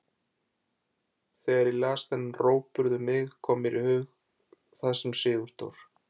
Þegar ég las þennan rógburð um mig kom mér í hug það sem Sigurdór